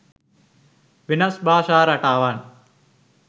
වෙනස් භාෂා රටාවන්